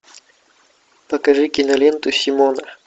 покажи киноленту симона